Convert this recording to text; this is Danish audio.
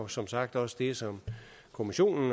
som sagt også det som kommissionen